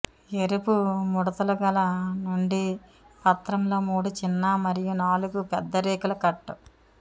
ఎరుపు ముడతలుగల నుండి పత్రంలో మూడు చిన్న మరియు నాలుగు పెద్ద రేకుల కట్